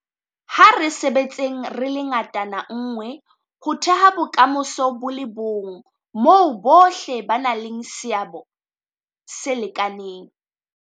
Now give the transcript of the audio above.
A re sebetseng re le ngatana nngwe ho theha bokamoso bo le bong boo bohle ba nang le seabo se lekanang.